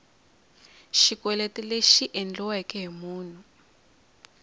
xikweleti lexi endliweke hi munhu